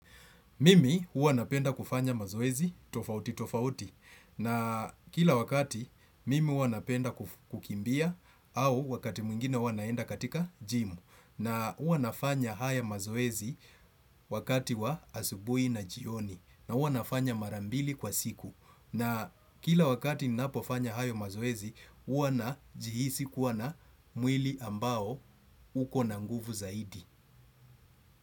Mimi hua napenda kufanya mazoezi tofauti tofauti na kila wakati mimi hua napenda kukimbia au wakati mwingine huwa naenda katika gym na hua nafanya haya mazoezi wakati wa asubuhi na jioni na hua nafanya mara mbili kwa siku na kila wakati ninapofanya haya mazoezi hua najihisi kua na mwili ambao uko na nguvu zaidi.